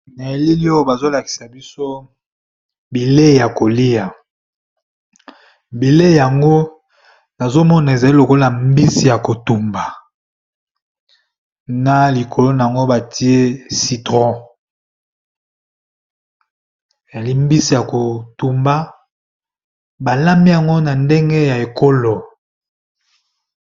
Na elili oyo bazolakisa biso bilei ya kolia bilei yango azomona ezali lokola mbisi ya kotumba na likolo na ngo batie citron eyali mbisi ya kotumba balambi yango na ndenge ya ekolo